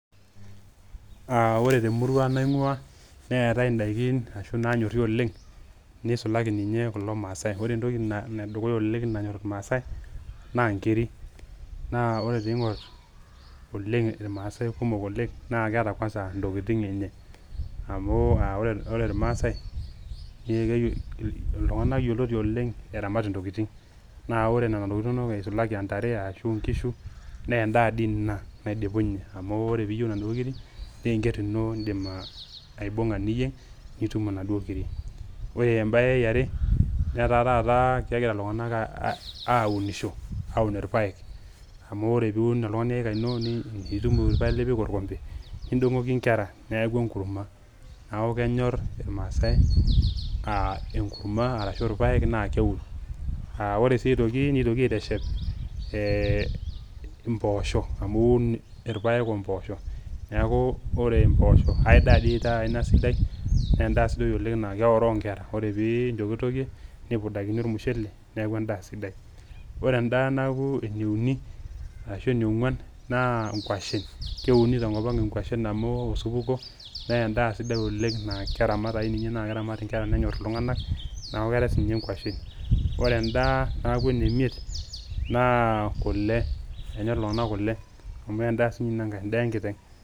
Aa ore te murua naing'uaa neetai ndaakin ashoo naanyoori oleng neisulai ninyee kulo maasai. Ore ntooki needukuya oleng naanyor maasai naa ng'iiri, naa ore pii ing'or maasai kumook oleng naa keeta kwansaa ntokitin enye amu aore maasai ltung'ana eyieloti oleng eramaat ntokitin. Naa ore nenia ntokitin enono eisulaaki entaree arashu nkishuu nee ndaa ndii enia nadipunye amu ore pee eiyeu nadoo ng'iri nee engeer enio iddim aibung'aa ninyeeng' nituum nadoo nkiiri . Ore baya naaere etaa taata egira ltung'ana aunushoo auun elmpaek amu ore pii eunuun ltung'ani ekaa einoo nituum elmpaeek nipiik elkombee neidong'oki nkaare neeku eng'umua . Naaku kenyoor elmaasai eng'umua aarashu lmpaeek naa keuun. Ore sii aitokii neitokii aitesheep mpooshoo amu uun elmpaeek o mpoosho. Naaku ore mpoosho ai ndaa sii taa enia sidaai naa ndaa naa keoroo nkeera. Kore pii intokitokee nimburundaki elmushele naaku endaa sidai. Ore endaa naaku neunii arasho newuan naa nguashen. Keuuni te nkopang ngu'ashen amu keook oshupuuko. Nee endaa sidaai oleng naa keramaat ake ninyee naa keramaat nkeera neenyoor ltung'anak naa keera sii ninye nguashen. Ore ndaa naaku neeimiet naaku kulee enyor ltung'ana kulee amu ndaa e sii ninye enenkai ndaa e nkiiteng'.